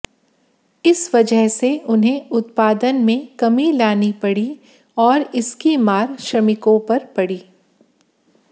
इस वजह से उन्हें उत्पादन में कमी लानी पड़ी और इसकी मार श्रमिकों पर पड़ी